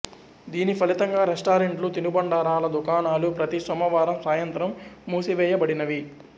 దీని ఫలితంగా రెస్టారెంట్లు తినుబండారాల దుకాణాలు ప్రతీ సోమవారం సాయంత్రం మూసివేయబడినవి